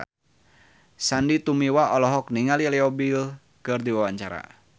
Sandy Tumiwa olohok ningali Leo Bill keur diwawancara